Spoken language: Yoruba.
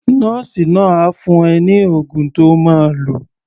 Nọ́ọ̀sì náà á fún ẹ ní oògùn to máa lò.